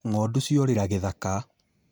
Ng'ondu ciorĩra gĩthaka